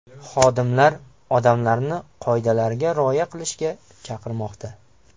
Xodimlar odamlarni qoidalarga rioya qilishga chaqirmoqda.